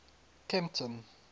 kempton